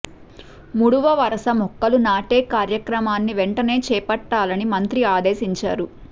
ముడువ వరుస మొక్కలు నాటే కార్యక్రమాన్ని వెంటనే చేపట్టాలని మంత్రి ఆదేశించారు